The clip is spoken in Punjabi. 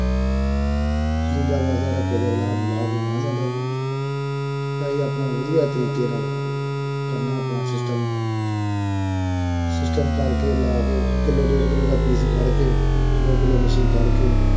ਜਿਉਂਦਾ ਵੱਸਦਾ ਰਹਿ ਫੇਰ ਅਗਲਾ ਸਾਨੂੰ ਲਾਹ ਕੇ ਅਗਾਂਹ ਜਾਂਦਾ ਵਾ ਅਸੀਂ ਆਪਣਾ ਵਧੀਆ ਤਰੀਕੇ ਨਾਲ ਕਰਨਾ ਆਪਣਾ system system ਕਰਕੇ ਲਾ ਕੇ ਕਿਲੋ ਡੇਢ ਕਿਲੋ ਦਾ piece ਫੜ੍ਹ ਕੇ, ਦੋ ਕਿਲੋ ਮੱਛੀ ਫੜ੍ਹਕੇ